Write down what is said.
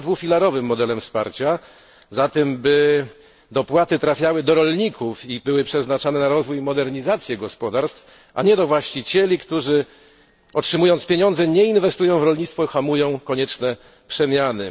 się za dwufilarowym modelem wsparcia, za tym, aby opłaty trafiały do rolników i były przeznaczane na rozwój i modernizację gospodarstw, a nie do właścicieli, którzy, otrzymując pieniądze, nie inwestują w rolnictwo i hamują konieczne przemiany.